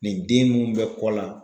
Nin den mun bɛ kɔ la.